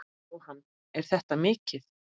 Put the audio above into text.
Jóhann: Er þetta mikið?